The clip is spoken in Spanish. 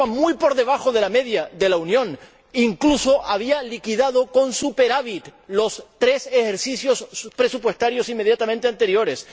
Estamos muy por debajo de la media de la Unión e incluso había liquidado con superávit los tres ejercicios presupuestarios inmediatamente anteriores.